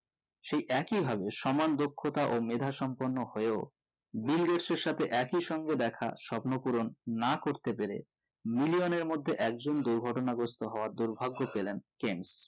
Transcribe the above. সেই একই ভাবে সমান দক্ষতা ও মেধা সম্পূর্ণ হয়েও বিল গেটসের সাথে একই সংঘ দেখা স্বপ্ন পূরণ না করতে পেরে million এর মধ্যে একজন দুর্ঘটনা গ্রস্থ হওয়ার দুর্ভাগ্য পেলেন কেন্ট